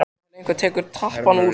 Þangað til einhver tekur tappann úr.